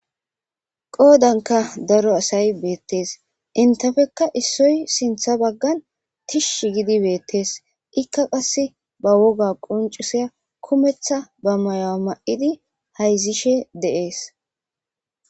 qoodanka daro asay beettees entefekka issoy sintha baggan tish gidi beettees ikka qasse ba woga qoncuseya kumetha ba mayoa ma7idi hayzishe de'ees